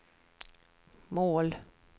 mål